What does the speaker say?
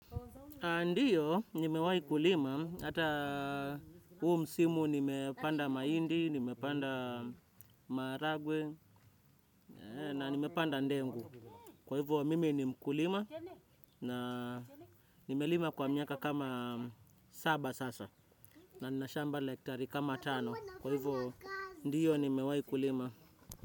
Ndiyo, nimewahi kulima, hata huu msimu nimepanda mahindi, nimepanda marahagwe na nimepanda ndengu. Kwa hivyo, mimi ni mkulima, na nimelima kwa miaka kama saba sasa, na nina shamba la hektari kama tano. Kwa hivyo, ndiyo, nimewahi kulima.